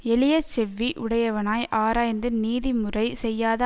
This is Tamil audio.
எளிய செவ்வி உடையவனாய் ஆராய்ந்து நீதி முறை செய்யாத